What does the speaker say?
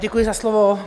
Děkuji za slovo.